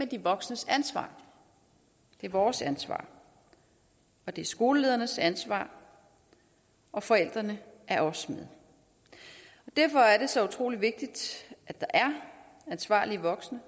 de voksnes ansvar det er vores ansvar og det er skolelederens ansvar og forældrene er også med derfor er det så utrolig vigtigt at der er ansvarlige voksne